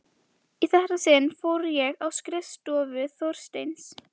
Í þetta sinn fór ég á skrifstofu Þorsteins.